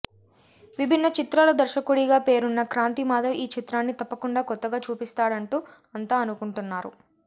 విభిన్న చిత్రాల దర్శకుడిగా పేరున్న క్రాంతి మాధవ్ ఈ చిత్రాన్ని తప్పకుండా కొత్తగా చూపిస్తాడంటూ అంతా అనుకుంటున్నారు